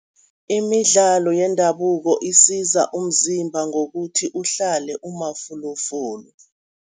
Imidlalo yendabuko isiza umzimba ngokuthi uhlale umafulufulu.